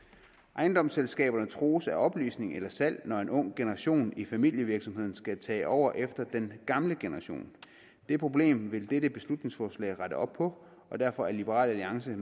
ejendomsselskaberne trues af opløsning eller salg når en ung generation i familievirksomheden skal tage over efter den gamle generation det problem vil dette beslutningsforslag rette op på og derfor er liberal alliance